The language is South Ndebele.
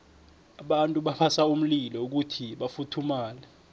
abantu babasa umlilo kuyhi bafuthumale